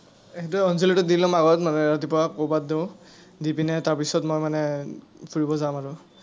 সেইটোৱেই অঞ্জলিটো দি ল’ম আগত, মানে ৰাতিপুৱা প্ৰসাদটো। দি পিনে তাৰ পিছত মই মানে, ফুৰিব যাম আৰু।